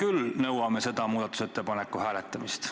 Meie nõuame selle muudatusettepaneku hääletamist.